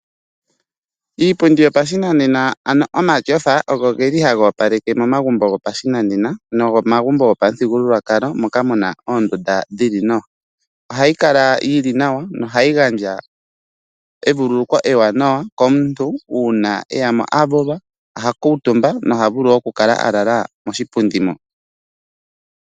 Iipundi yopashinanena ano omatyofa ogo geli haga opaleke momagumbo gopashinanena nomomagumbo gopamuthigululwakalo moka muna oondunda dhili nawa. Ohayi kala yili nawa nohayi gandja evululuko ewanawa komuntu uuna eyamo avulwa, oha kuutumba noha vulu okukala alala moshipundi moka.